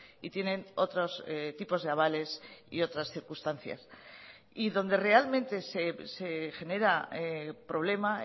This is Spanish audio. y tienen otros tipos de avales y otras circunstancias y donde realmente se genera problema